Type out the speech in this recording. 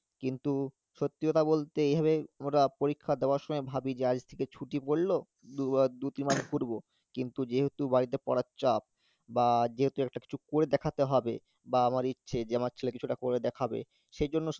কিন্তু সত্যি কথা বলতে এইভাবে ওরা পরীক্ষা দেওয়ার সময় ভাবি যে আজ থেকে ছুটি পড়লো, দু তিন মাস ঘুরবো, কিন্তু যেহুতু বাড়িতে পড়ার চাপ বা যেহেতু একটা কিছু করে দেখাতে হবে, বাবা মার ইচ্ছে যে আমার ছেলে একটা কিছু করে দেখাবে সেই জন্য